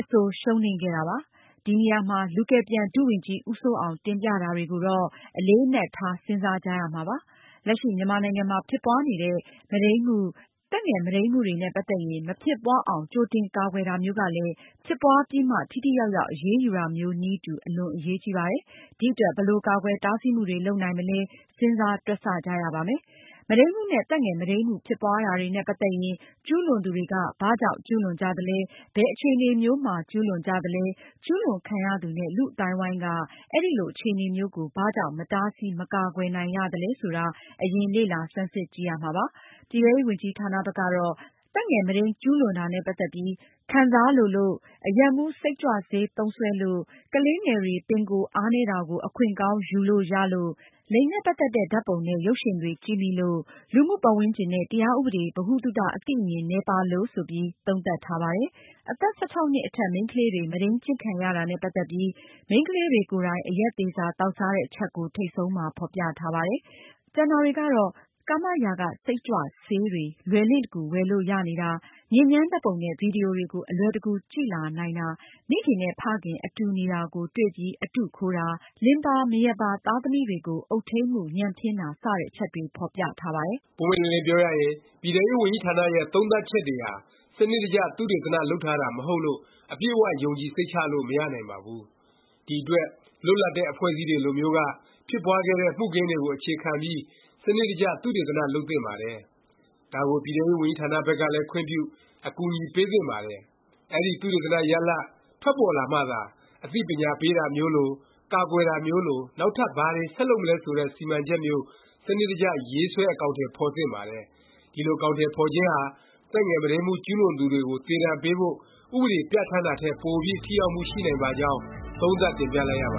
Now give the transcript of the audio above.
အဆို ရှုံးနိမ့်ခဲ့တာပါ။ ဒီနေရာမှာ လူကယ်ပြန် ဒုဝန်ကြီး ဦးစိုးအောင် တင်ပြတာတွေကိုတော့ အလေးအနက်ထား စဉ်းစားကြရမှာပါ။ လက်ရှိ မြန်မာနိုင်ငံမှာ ဖြစ်ပွားနေတဲ့ မုဒိန်းမှု၊ သက်ငယ် မုဒိန်းမှုတွေနဲ့ ပတ်သက်ရင် မဖြစ်ပွားအောင် ကြိုတင် ကာကွယ်တာမျိုးကလည်း ဖြစ်ပွားပြီးမှ ထိထိရောက်ရောက် အရေးယူတာမျိုး နည်းတူ အလွန် အရေးကြီးပါတယ်။ ဒီအတွက် ဘယ်လို ကာကွယ် တားဆီးမှုတွေ လုပ်နိုင်မလဲ စဉ်းစား တွက်ဆ ကြရပါမယ်။ မုဒိန်းမှုနဲ့ သက်ငယ် မုဒိန်းမှု ဖြစ်ပွားတာတွေနဲ့ ပတ်သက်ရင် ကျူးလွန်သူတွေက ဘာကြောင့် ကျူးလွန်ကြသလဲ၊ ဘယ်အခြေအနေမျိုးမှာ ကျူးလွန်ကြသလဲ၊ ကျူးလွန်ခံရသူနဲ့ လူ့အသိုင်းအဝိုင်းက အဲလို အခြေအနေမျိုးကို ဘာကြောင့် မတားဆီး မကာကွယ်နိုင်ရသလဲ ဆိုတာ အရင် လေ့လာ ဆန်းစစ်ကြည့်ရမှာပါ။ ပြည်ထဲရေးဝန်ကြီးဌာနဘက်ကတော့ သက်ငယ် မုဒိန်း ကျူးလွန်ရတာနဲ့ ပတ်သက်ပြီး ထူးခြားတဲ့ ခံစားချက် ရှိမရှိ ခံစားလိုလို့၊ အရက်မူး၊ စိတ်ကြွဆေး သုံးစွဲလို့၊ ကလေးငယ်တွေ ပင်ကိုယ်အားနည်းတာကို အခွင့်ကောင်း ယူလို့ရလို့၊ လိင်နဲ့ ပတ်သက်တဲ့ ဓာတ်ပုံနဲ့ ရုပ်ရှင်တွေကြည့်မိလို့၊ လူမှု ပတ်ဝန်းကျင်နဲ့ တရားဥပဒေ ဗဟုသုတ အသိအမြင် နည်းပါးလို့ ဆိုပြီး သုံးသပ်ထားပါတယ်။ အသက် ၁၆ နှစ်အထက် မိန်းကလေးတွေ မုဒိန်းကျင့်ခံရတာနဲ့ ပတ်သက်ပြီး မိန်းကလေးတွေ ကိုယ်တိုင် အရက်သေစာ သောက်စားတဲ့ အချက်ကို ထိပ်ဆုံးမှာ ဖော်ပြထားပါတယ်။ ကျန်တာတွေကတော့ ကာမ ရာဂ စိတ်ကြွဆေးတွေ လွယ်လင့်တကူ ဝယ်လို့ ရနေတာ၊ ညစ်ညမ်းဓာတ်ပုံနဲ့ ဗီဒီယိုတွေကို အလွယ်တကူ ကြည့်လာနိုင်တာ၊ မိခင်နဲ့ ဖခင် အတူနေတာကို တွေ့ပြီး အတုခိုးတာ၊ လင်ပါ မယားပါ သားသမီးတွေကို အုပ်ထိန်းမှု ညံ့ဖျင်းတာ စတဲ့ အချက်တွေ ဖော်ပြထားပါတယ်။ ပွင့်ပွင့်လင်းလင်း ပြောရရင် ပြည်ထဲရေးဝန်ကြီးဌာနရဲ့ သုံးသပ်ချက်တွေဟာ စနစ်တကျ သုတေသန လုပ်ထားတာ မဟုတ်လို့ အပြည့်အ၀ ယုံကြည်စိတ်ချလို့ မရနိုင်ပါဘူး။ ဒီအတွက် လွတ်လပ်တဲ့ အဖွဲ့အစည်းတွေ လိုမျိုးက ဖြစ်ပွားခဲ့တဲ့ မှုခင်းတွေကို အခြေခံပြီး စနစ်တကျ သုတေသန လုပ်သင့်ပါတယ်။ ဒါကို ပြည်ထဲရေးဝန်ကြီးဌာန ဘက်ကလည်း ခွင့်ပြု၊ အကူအညီ ပေးသင့်ပါတယ်။ အဲဒီ သုတေသန ရလာဒ် ထွက်ပေါ်လာမှသာ အသိပညာပေးတာမျိုးလို၊ ကာကွယ်တာမျိုးလို နောက်ထပ် ဘာတွေ ဆက်လုပ်မလဲ ဆိုတဲ့ စီမံချက်မျိုး စနစ်တကျ ရေးဆွဲ အကောင်အထည် ဖော်သင့်ပါတယ်။ ဒီလို အကောင်အထည် ဖော်ခြင်းဟာ သက်ငယ်မုဒိန်းမှု ကျူးလွန်သူတွေကို သေဒါဏ်ပေးဖို့ ဥပဒေပြဌာန်းတာထက် ပိုပြီး ထိရောက်မှု ရှိနိုင်ပါကြောင်း သုံးသပ် တင်ပြလိုက်ရပ